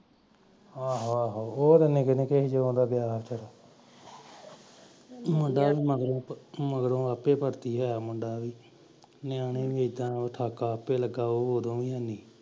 ਆਹੋ ਆਹੋ ਉਹ ਨਿੱਕੇ ਨਿੱਕੇਸੀ ਜਦੋਂ ਦਾ ਗਿਆ ਆ ਮੁੰਡਾ ਵੀ ਮਗਰੋਂ ਆਪੇ ਭਰਤੀ ਹੀ ਹੋਇਆ ਮੁੰਡਾ ਵੀ ਨਿਆਣੇ ਵ